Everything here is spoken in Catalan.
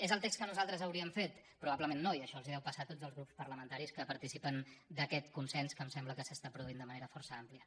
és el text que nosaltres hauríem fet probablement no i això els deu passar a tots els grups parlamentaris que participen d’aquest consens que em sembla que s’està produint de manera força àmplia